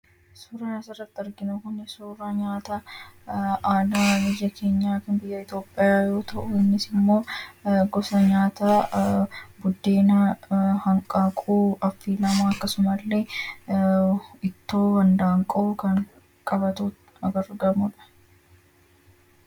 suuraan asirratti arginu kun suuraa nyaata aadaa biyya keenya Itoophiyaa yoo ta'u innis immoo gosa nyaataa buddeena, hanqaaquu, akkasumallee ittoo handaanqoo kan qabatee argamudha.